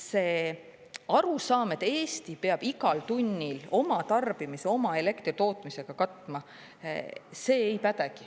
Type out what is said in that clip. See arusaam, et Eesti peab igal tunnil oma tarbimise oma elektritootmisega katma, ei päde.